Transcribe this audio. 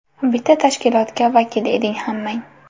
Bitta tashkilotga vakil eding hammang.